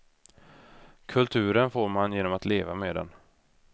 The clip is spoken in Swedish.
Kulturen får man genom att leva med den.